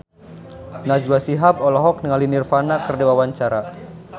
Najwa Shihab olohok ningali Nirvana keur diwawancara